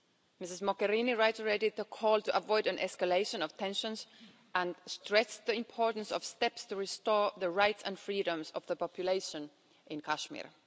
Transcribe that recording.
Ms Mogherini reiterated the call to avoid an escalation of tensions and stressed the importance of steps to restore the rights and freedoms of the population in Kashmir.